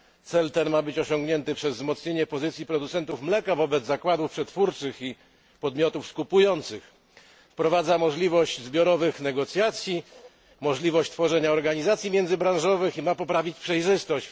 Cel ten ma być osiągnięty przez wzmocnienie pozycji producentów mleka wobec zakładów przetwórczych i podmiotów skupujących. Wprowadza możliwość zbiorowych negocjacji, możliwość tworzenia organizacji międzybranżowych i ma poprawić przejrzystość.